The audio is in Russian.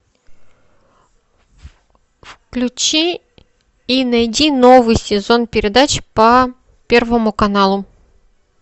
включи и найди новый сезон передач по первому каналу